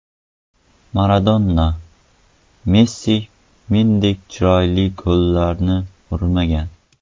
Maradona: Messi mendek chiroyli gollarni urmagan.